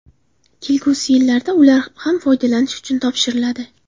Kelgusi yillarda ular ham foydalanish uchun topshiriladi.